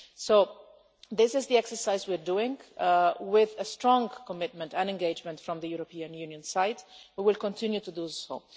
So this is the exercise we are doing and, with a strong commitment and strong engagement from the European Union side, we will continue to do so.